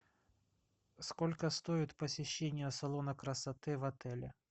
сколько стоит посещение салона красоты в отеле